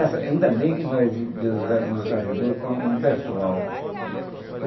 Essa ainda bem que nós Deus nos ajudou com um pessoal.